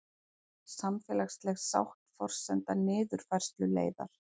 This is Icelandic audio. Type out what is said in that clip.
Samfélagsleg sátt forsenda niðurfærsluleiðar